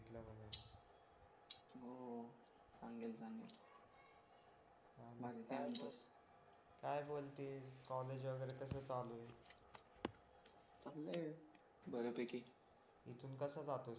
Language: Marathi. सांगेल सांगेल बाकी काय म्हणतो काय बोलती कॉलेज वगैरे कसं चालू आहे चांगलंय बऱ्यापैकी इथून कसा जातोस